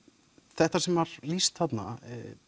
þetta sem var lýst þarna